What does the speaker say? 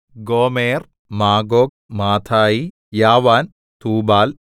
ഗോമെർ Magog Madai Javan Tubal